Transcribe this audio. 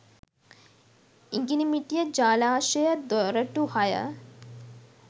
ඉඟිණිමිටිය ජලාශය දොරටු හය